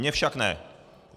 Mně však ne.